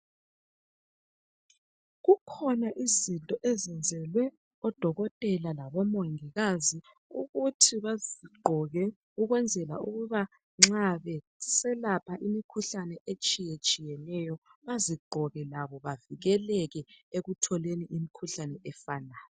kukhona izinto ezenzelwe odokotela labomongikazi ukuba bezigqoke ukwenzela ukuba nxa beselapha imikhuhlane etshiyeneyo bazigqoke labo bavikeleke ekutholeni imikhuhlane efanayo